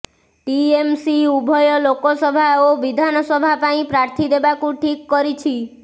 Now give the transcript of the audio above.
TMC ଉଭୟ ଲୋକସଭା ଓ ବିଧାନସଭା ପାଇଁ ପ୍ରାର୍ଥୀ ଦେବାକୁ ଠିକ୍ କରିଛି